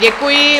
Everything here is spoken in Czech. Děkuji.